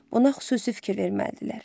Buna xüsusi fikir verməlidirlər.